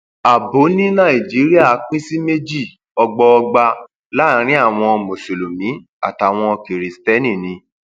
abbo ní nàìjíríà pín sí méjì ọgbọọgba láàrin àwọn mùsùlùmí àtàwọn kiristeni ni